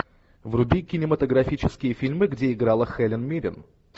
вруби кинематографические фильмы где играла хелен миррен